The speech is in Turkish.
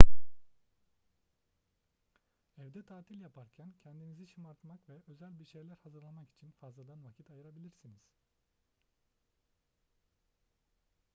evde tatil yaparken kendinizi şımartmak ve özel bir şeyler hazırlamak için fazladan vakit ayırabilirsiniz